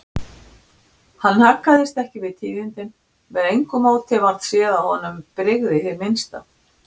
Hann haggaðist ekki við tíðindin, með engu móti varð séð að honum brygði hið minnsta.